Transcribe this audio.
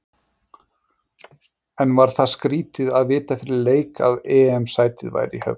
En var það skrítið að vita fyrir leik að EM sætið væri í höfn?